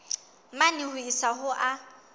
mane ho isa ho a